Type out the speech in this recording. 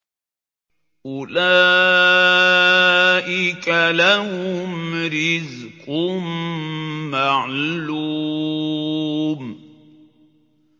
أُولَٰئِكَ لَهُمْ رِزْقٌ مَّعْلُومٌ